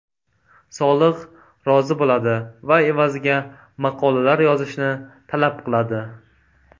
Solih rozi bo‘ladi va evaziga maqolalar yozishni talab qiladi.